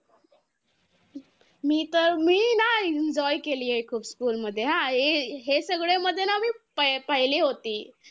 एका आक्खेयेकीनुसार राजमाता जिजाऊ यांनी शिवनेरी गडावरील शिवाई देवीला एक नवस मागितले होते की जर मला पुत्र झाला तर त्याच नाव मी शिवाजी ठेवेल.